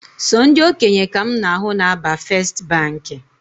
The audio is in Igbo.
Sọ ndị okenye ka mụ na ahụ na aba first Baankị